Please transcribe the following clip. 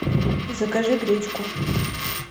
закажи гречку